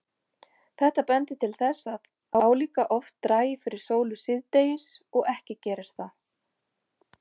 Þetta bendir til þess að álíka oft dragi fyrir sólu síðdegis og ekki geri það.